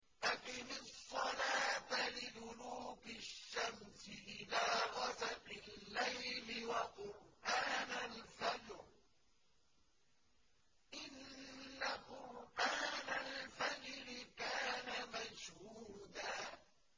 أَقِمِ الصَّلَاةَ لِدُلُوكِ الشَّمْسِ إِلَىٰ غَسَقِ اللَّيْلِ وَقُرْآنَ الْفَجْرِ ۖ إِنَّ قُرْآنَ الْفَجْرِ كَانَ مَشْهُودًا